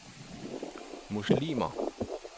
muslimer